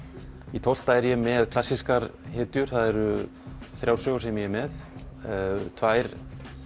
í tólfta er ég með klassískar hetjur það eru þrjár sögur sem ég er með tvær